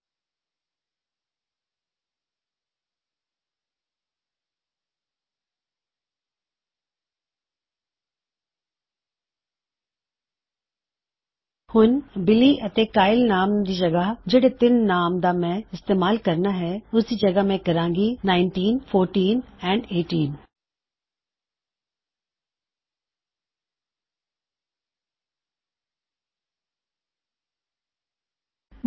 ਹੁਣ ਬਜਾਏ ਅਗੇ ਜਾਂਵਾ ਫੇਰ ਬਿਲੀ ਅਤੇ ਕਾਇਲ ਦਾ ਨਾਮ ਲਵਾਂ ਜੋ ਮੇਰੇ ਕੋਲ ਤਿੰਨ ਨਾਮ ਨੇ ਜਿਸ ਦਾ ਇਸਤੇਮਾਲ ਮੈਂ ਕਰਨਾ ਹੈ ਪਰ ਉਸਦੀ ਜਗ੍ਹਾ ਮੈਂ ਕਹਾਂਗਾ ਉੱਨੀ ਅਠਾਰਾਂ ਅਤੇ ਚੌਦਾਂ ਨਾਈਨਟੀਨ ਆਈਟੀਨ ਫੋਰਟੀਨ